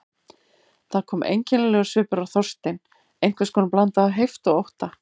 Það kom einkennilegur svipur á Þorstein, einhvers konar blanda af heift og ótta.